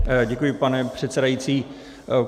Děkuji, pane předsedající.